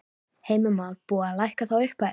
Heimir Már: Búið að lækka þá upphæð?